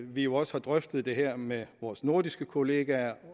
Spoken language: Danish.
vi jo også har drøftet det her med vores nordiske kollegaer